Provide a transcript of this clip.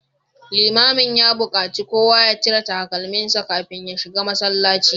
Limamin ya bukaci kowa ya cire takalminsa kafin ya shiga masallaci